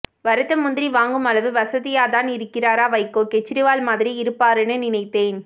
வறுத்த முந்தி்ரி வாங்கும் அளவு வசதி்யாதான் இருக்காரா வைகோ ஃகெச்ரிவால் மாதி்ரி இருப்பாருன்னு நினைத்தேன்